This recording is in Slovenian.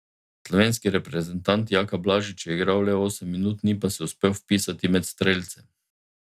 Slovenski reprezentant Jaka Blažič je igral le osem minut, ni pa se uspel vpisati med strelce.